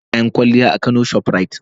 Na sayi kayan kwalliya a kano shoprite.